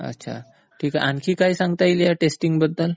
अच्छा ठीक आहे. आणखी काय सांगता येईल ह्या टेस्टिंग बद्दल?